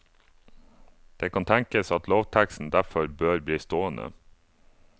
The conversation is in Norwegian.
Det kan tenkes at lovteksten derfor bør bli stående.